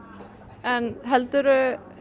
en heldurðu